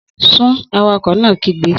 Sún! Awakọ̀ náà kígbe